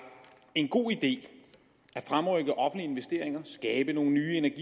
en god idé at fremrykke offentlige investeringer skabe nogle nye energi